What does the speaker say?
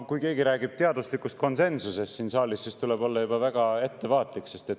No kui keegi räägib siin saalis teaduslikust konsensusest, siis tuleb juba olla väga ettevaatlik.